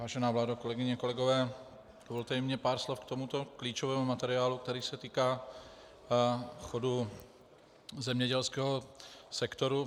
Vážená vládo, kolegyně, kolegové, dovolte i mně pár slov k tomuto klíčovému materiálu, který se týká chodu zemědělského sektoru.